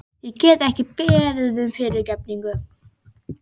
Ég get ekki beðið um fyrirgefningu.